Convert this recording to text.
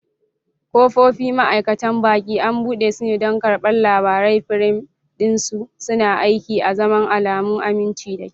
Ƙofofi, ma'aikatan baƙi, an buɗe su don karɓar labarai, firam ɗin su suna aiki azaman alamun aminci da kyau.